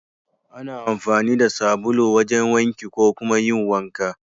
Ana amfani da sabulu wajen wanki ko kuma yin wanka.